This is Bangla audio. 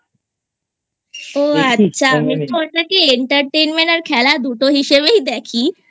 ও আচ্ছা আমি Entertainment আর খেলা দুটো হিসেবেই দেখি